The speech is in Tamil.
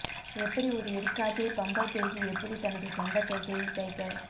எப்படி ஒரு எடுக்காதே பம்பர் தேர்வு எப்படி தனது சொந்த கைகளில் தைக்க